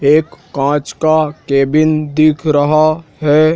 एक कांच का केबिन दिख रहा हैं।